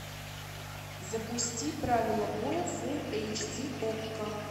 запусти правила боя фул эйч ди окко